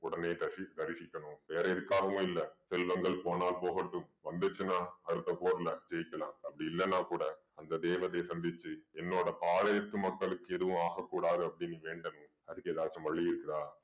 உடனே தசி~ தரிசிக்கணும் வேற எதுக்காகவும் இல்ல. செல்வங்கள் போனால் போகட்டும். வந்துச்சுன்னா அடுத்த போர்ல ஜெயிக்கலாம். அப்படி இல்லன்னா கூட அந்த தேவதைய சந்திச்சு என்னோட பாளையத்து மக்களுக்கு எதுவும் ஆக கூடாது அப்படீன்னு வேண்டனும் அதுக்கு ஏதாச்சும் வழி இருக்குதா